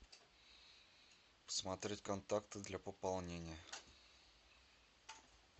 посмотреть контакты для пополнения